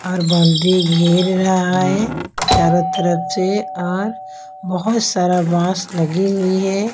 और बाउंड्री घेर रहा है चारों तरफ से और बहुत सारा बाँस लगी हुई है।